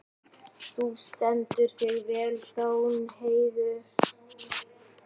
Þú stendur þig vel, Danheiður!